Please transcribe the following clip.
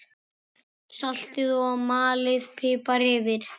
Saltið og malið pipar yfir.